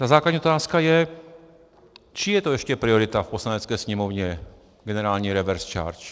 Ta základní otázka je, čí je to ještě priorita v Poslanecké sněmovně - generální reverse charge?